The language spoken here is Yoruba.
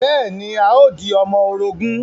Bẹ́ẹ̀ ni, a o di ọmọ orogún